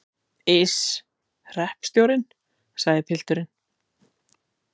Iss, hreppstjórinn, sagði pilturinn.